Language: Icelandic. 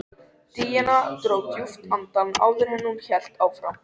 Daðína dró djúpt andann áður en hún hélt áfram.